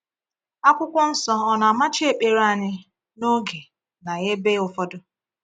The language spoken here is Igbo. Akwụkwọ Nsọ ọ na-amachi ekpere anyị n’oge na ebe ụfọdụ?